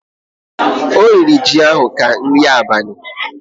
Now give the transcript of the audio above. O riri ji ahụrụ ahụ ka nri abali.